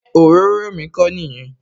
Ṣé òróró mi kò nìyẹn?